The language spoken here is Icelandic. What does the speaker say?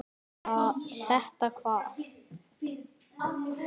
Þetta hvað?